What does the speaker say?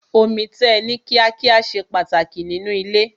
Omi tẹ̀ ní kíá kíá ṣe pàtàkì nínú ilé.